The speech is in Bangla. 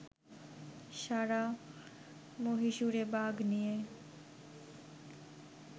সারা মহীশুরে বাঘ নিয়ে